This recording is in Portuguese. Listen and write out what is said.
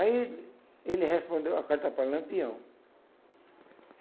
Aí, ele respondeu à carta para Lampião.